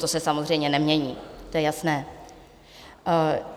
To se samozřejmě nemění, to je jasné.